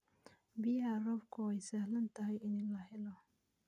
Biyaha roobka waa sahlan tahay in la helo.